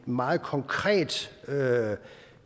meget konkret